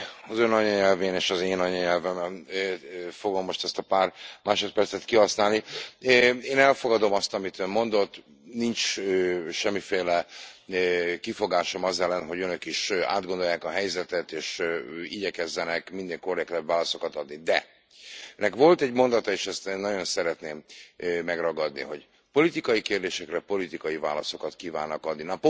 Az ön anyanyelvén és az én anyanyelvemen fogom most ezt a pár másodpercet kihasználni. Én elfogadom azt, amit ön mondott, nincs semmiféle kifogásom az ellen, hogy önök is átgondolják a helyzetet és igyekezzenek minél korrektebb válaszokat adni, de önnek volt egy mondata, és ezt én nagyon szeretném megragadni, hogy politikai kérdésekre politikai válaszokat kívánnak adni.